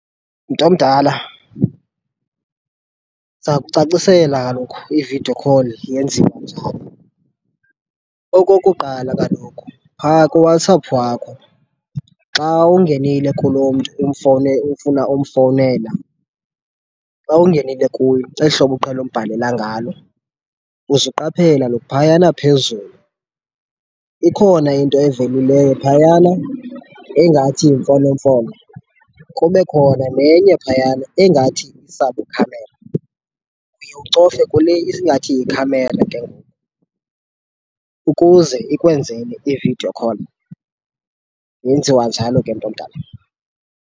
Mntomdala, ndiza kucacisela kaloku i-video call yenziwa njani. Okokuqala kaloku, phaa kuWhatsApp wakho xa ungenile kulo mntu ufuna umfowunela, xa ungenile kuyo eli hlobo uqhele umbhalela ngalo, uzuqaphele kaloku phayana phezulu ikhona into evelileyo phayana engathi yimfonomfono, kube khona nenye phayana engathi isabukhamera. Uye ucofe kule ingathi yikhamera ke ukuze ikwenzele i-video call. Yenziwa njalo ke, mntomdala.